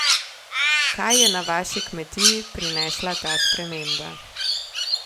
Kaj je na vaši kmetiji prinesla ta sprememba?